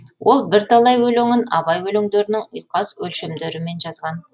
ол бірталай өлеңін абай өлеңдерінің ұйқас өлшемдерімен жазған